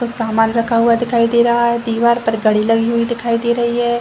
को सामान रखा हुआ दिखाई दे रहा है दीवार पर घड़ी लगी हुई दिखाई दे रही है।